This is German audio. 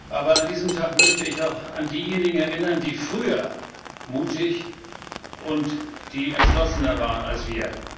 Aber an diesem Tag möchte ich auch an diejenigen erinnern, die früher mutig und die entschlossener waren als wir.